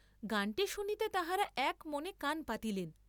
গানটী শুনিতে তাঁহারা এক মনে কান পাতিলেন।